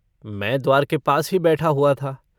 मै द्वार के पास ही बैठा हुआ था।